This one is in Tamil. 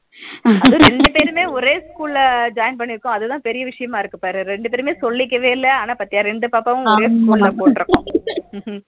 அதுவும் ரெண்டு பேருமே ஒரே school ல join பண்ணியுருகோம் அதுதா பெரிய விசயமா இருக்கு பாரு ரெண்டு பேருமே சொல்லிகவே இல்ல ஆனா பாதிய ரெண்டு பாப்பாவையும் ஒரே school ல போட்டு இருக்கோம்